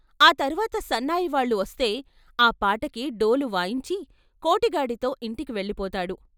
ఆ తర్వాత సన్నాయివాళ్ళు వస్తే ఆ పాటకి డోలు వాయించి కోటి గాడితో ఇంటికి వెళ్ళిపోతాడు.